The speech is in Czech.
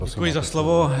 Děkuji za slovo.